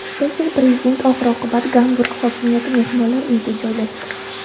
Lekin prezident oxir-oqibat Gamburg hokimiyati mehmonlar uyida joylashdi.